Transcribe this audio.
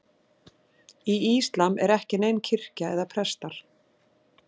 Í íslam er ekki nein kirkja eða prestar.